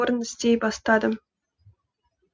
орын іздей бастадым